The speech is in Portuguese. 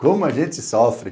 Como a gente sofre.